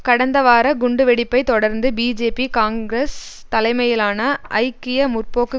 கடந்த வார குண்டுவெடிப்பை தொடர்ந்து பிஜேபி காங்கிரஸ் தலைமையிலான ஐக்கிய முற்போக்கு